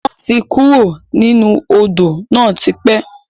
Wọn tí kúrò nínú Odò náà tipẹ́